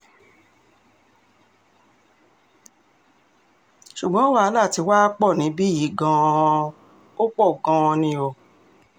ṣùgbọ́n wàhálà tiwa pọ̀ níbí yìí gan-an ò pọ̀ gan-an ni o